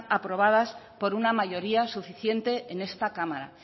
aprobadas por una mayoría suficiente en esta cámara